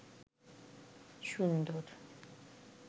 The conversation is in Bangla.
সুন্দর